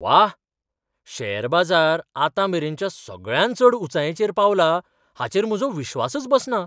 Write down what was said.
वा..., शेअर बाजार आतांमेरेनच्या सगळ्यांत चड उंचायेचेर पावला हाचेर म्हजो विश्वासच बसना!